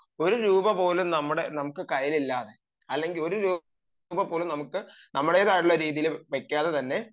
ഒരു രൂപപോലും നമ്മുടെ നമുക്ക് ഇല്ലാതെ തന്നെ അല്ലെങ്കിൽ ഒരു രൂപ പോലും നമ്മുടേതായ രീതിയിൽ വെക്കാതെ തന്നെ